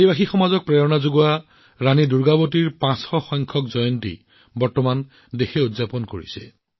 জনজাতীয় সমাজখনক অনুপ্ৰাণিত কৰা ৰাণী দুৰ্গাৱতী জীৰ ৫০০সংখ্যক জয়ন্তী উদযাপন কৰা হৈছে